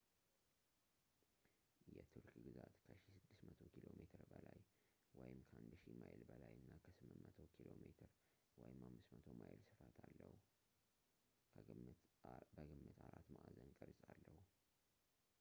የቱርክ ግዛት ከ 1,600 ኪ.ሜ በላይ 1,000 ማይል በላይ እና 800 ኪ.ሜ 500 ማይል ስፋት አለው ፣ በግምት አራት ማዕዘን ቅርፅ አለው